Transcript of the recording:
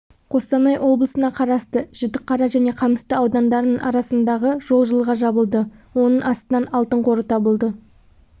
қостанай облысына қарасты жітіқара және қамысты аудандарының арасындағы жол жылға жабылды оның астынан алтын қоры табылды